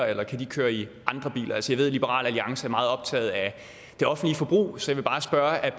eller kan de køre i andre biler altså jeg ved at liberal alliance er meget optaget af det offentlige forbrug så jeg vil bare spørge